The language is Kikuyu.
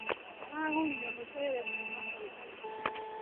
Aragũrire mũcere kuma kwĩ arĩmi.